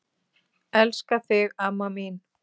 Elska þig amma mín.